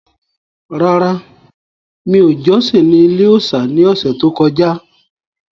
Rárá, mi ò jọ́sìn ní ilé-òòsà ní ọ̀sẹ̀ tó kọjá